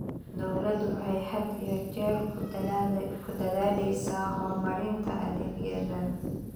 Dawladdu waxay had iyo jeer ku dadaalaysaa horumarinta adeegyadan.